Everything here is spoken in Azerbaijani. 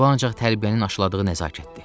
Bu ancaq tərbiyənin aşıladığı nəzakətdir.